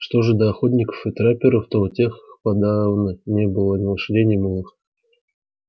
что же до охотников и трапперов то у тех подавно не было ни лошадей ни мулов